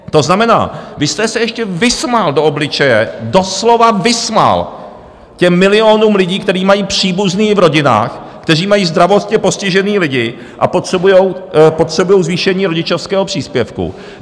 To znamená, vy jste se ještě vysmál do obličeje, doslova vysmál těm milionům lidí, kteří mají příbuzné v rodinách, kteří mají zdravotně postižené lidi a potřebují zvýšení rodičovského příspěvku.